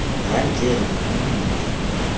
rantleru m m m m